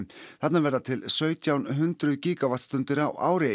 þarna verða til sautján hundruð gígavattstundir á ári